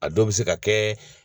A dɔw bɛ se ka kɛ